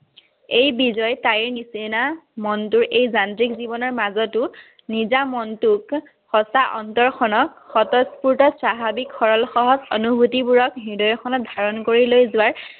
এই বিজয় তাইৰ নিচিনা মনটোৰ এই যান্ত্ৰিক জীৱনৰ মাজতো নিজা মনটোক সচা অন্তৰখনক স্বতঃস্পূৰ্ত স্বাভাৱিক সহজ-সৰল অনুভূতিবোৰক হৃদয়খনত ধাৰণ কৰি লৈ যোৱাৰ